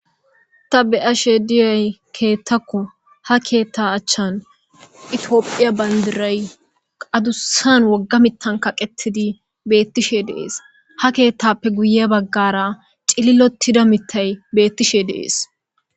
Ta be'ashe diyoyi keththako ,ha keththa achani etiyopiya banidiray adussan woga mithan kaqqetidi beetishe de'es.ha keththappe guye baggara cililotida mithay beetishe dees.